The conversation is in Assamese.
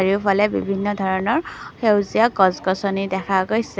সেইফালে বিভিন্ন ধৰণৰ সেউজীয়া গছ-গছনি দেখা গৈছে।